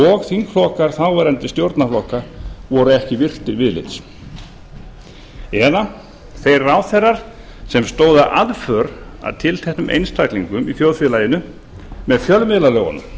og þingflokkar þáverandi stjórnarflokka voru ekki virtir viðlits eða þeir ráðherrar sem stóðu að aðför að tilteknum einstaklingum í þjóðfélaginu með fjölmiðlalögunum